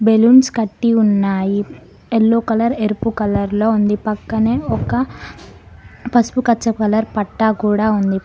Balloons కట్టి ఉన్నాయి yellow colour ఎరుపు కలర్ లో ఉంది పక్కనే ఒక పసుపచ్చ కలర్ పట్టా కూడా ఉంది.